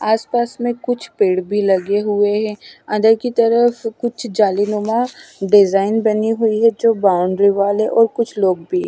आसपास में कुछ पेड़ भी लगे हुए हैं अंदर की तरफ कुछ जालीनुमा डिजाइन बनी हुई है जो बाउंड्री वाल है और कुछ लोग भी--